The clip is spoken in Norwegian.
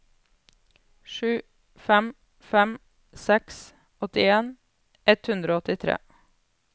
sju fem fem seks åttien ett hundre og åttitre